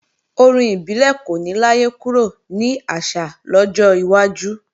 Orin ibile kò ní láyé kúrò ní àṣà lọ́jọ́ iwájú